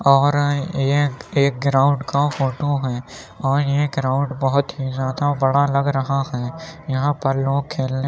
और ये एक ग्राउंड का फोटो हैं और ये ग्राउंड बहुत ही ज़्यादा बड़ा लग रहा है। यहाँ पर लोग खेलने --